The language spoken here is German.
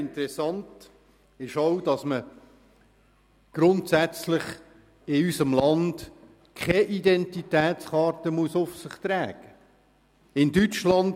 Interessant ist auch, dass man in unserem Land grundsätzlich keine Identitätskarte auf sich tragen muss.